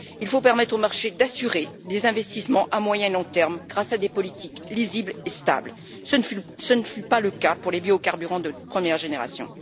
Il faut permettre au marché d'assurer des investissements à moyen et long terme grâce à des politiques lisibles et stables ce ne fut pas le cas pour les biocarburants de première génération.